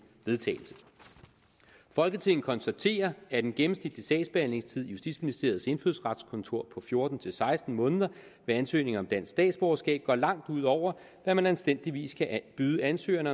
vedtagelse folketinget konstaterer at en gennemsnitlig sagsbehandlingstid i justitsministeriets indfødsretskontor på fjorten til seksten måneder ved ansøgninger om dansk statsborgerskab går langt ud over hvad man anstændigvis kan byde ansøgerne